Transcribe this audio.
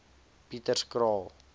pieterskraal